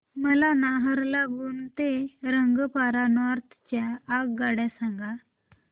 मला नाहरलागुन ते रंगपारा नॉर्थ च्या आगगाड्या सांगा